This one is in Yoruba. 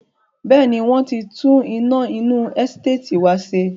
Bẹ́ẹ̀ni, wọ́n tí tún iná inú Ẹsteetì wá ṣe.